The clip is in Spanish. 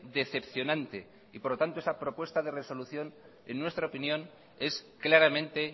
decepcionante y por lo tanto esta propuesta de resolución en nuestra opinión es claramente